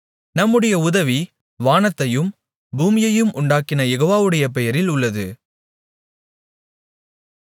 நம்முடைய உதவி வானத்தையும் பூமியையும் உண்டாக்கின யெகோவாவுடைய பெயரில் உள்ளது